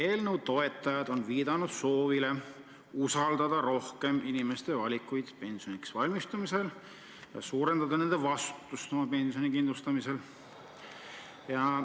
Eelnõu toetajad on viidanud soovile usaldada rohkem inimeste valikuid pensioniks valmistumisel ja suurendada nende vastutustunnet pensioni kindlustamisel.